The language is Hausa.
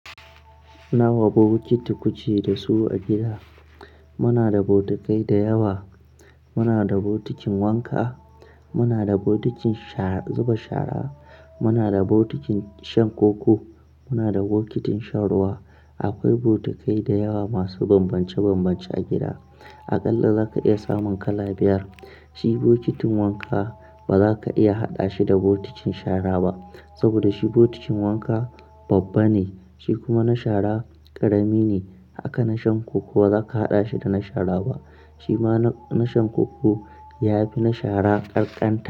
Nawa bokiti ku ke da su a gida? Muna da bokitai da yawa. Muna da botikin wanka, muna da botikin sha zuba shara, muna da botikin shan koko, muna da bokitin shan ruwa. Akwai bokitai da yawa masu bambance bambance a gida. Aƙalla za ka iya samun kala biyar. Shi bokitin wanka ba za ka iya haɗa shi da bokitin shara ba saboda shi bokitin wanka babba ne, shi kuma na shara ƙarami ne. Haka na shan koko ba za ka haɗa shi da na shara ba, shi ma na shan koko ya fi na shara ƙanƙanta.